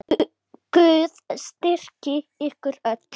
Guð styrki ykkur öll.